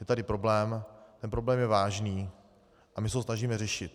Je tady problém, ten problém je vážný a my se ho snažíme řešit.